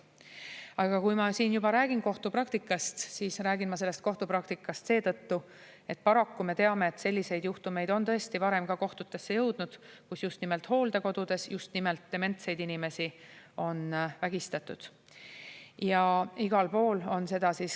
Aga kui ma siin juba räägin kohtupraktikast, siis ma räägin sellest kohtupraktikast seetõttu, et paraku me teame, et selliseid juhtumeid, kus just nimelt hooldekodudes just nimelt dementsed inimesi on vägistatud, on varemgi kohtutesse jõudnud.